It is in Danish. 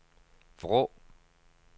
Vrå